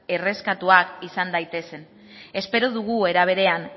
erreskatatuak izan daitezen espero dugu era berean